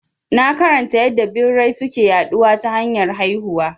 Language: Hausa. Na karanta yadda birai suke yaɗuwa ta hanyar haihuwa